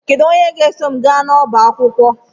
Kedu onye ga-eso m gaa n'ọba akwụkwọ?